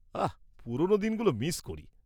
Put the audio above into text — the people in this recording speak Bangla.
-আহ্, পুরনো দিনগুলো মিস করি।